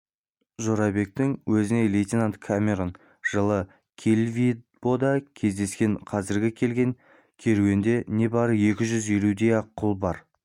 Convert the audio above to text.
жорабектің өзіне лейтенант камерон жылы килвибода кездескен қазіргі келген керуенде небары екі жүз елудей-ақ құл бар